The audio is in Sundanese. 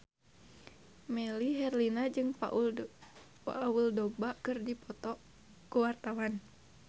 Melly Herlina jeung Paul Dogba keur dipoto ku wartawan